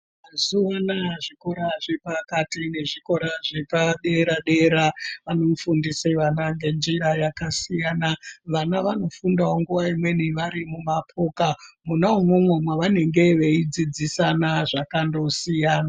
Mazuva anaya zvikora zvepakati nezvikora zvepadera-dera vanofundise vana ngenjira yakasiyana. Vana vanofundawo nguva imweni vari mumapoka, mwona imwomwo vanenge veyidzidzisana zvakandosiyana.